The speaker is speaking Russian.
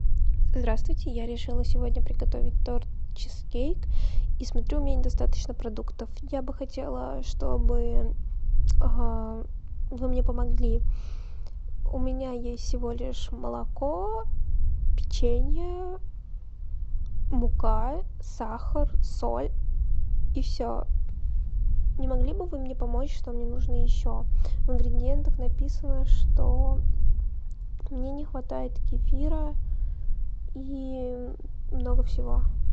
здравствуйте я решила сегодня приготовить торт чизкейк и смотрю у меня недостаточно продуктов я бы хотела чтобы вы мне помогли у меня есть всего лишь молоко печенье мука сахар соль и все не могли бы вы мне помочь что мне нужно еще в ингредиентах написано что мне не хватает кефира и много всего